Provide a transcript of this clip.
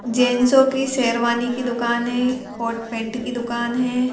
जेंसों की शेरवानी की दुकान है कॉट पेंट की दुकान है।